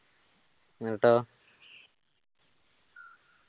എന്നിട്ടോ